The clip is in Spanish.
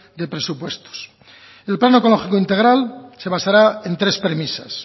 de presupuestos el plan oncológico integral se basará en tres premisas